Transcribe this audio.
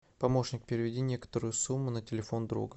помощник переведи некоторую сумму на телефон друга